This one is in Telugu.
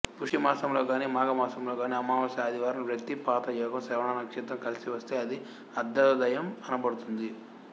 పుష్యమాసములో గాని మాఘమాసములో గాని అమావాస్య ఆదివారం వ్యతీ పాతయోగం శ్రవణ నక్షత్రం కలసివస్తే అది అర్ధోదయం అనబడుతుంది